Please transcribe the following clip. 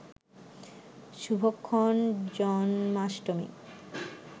শুভক্ষণ, Janmashtami